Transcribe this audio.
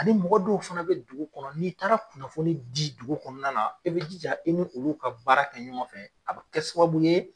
Ani mɔgɔdɔw fana be dugu kɔnɔ, n'i taara kunnafoni ji dugu kɔnɔna la, e bi di jija i ni olu ka baara kɛ ɲɔgɔn fɛ a bi kɛ sababu ye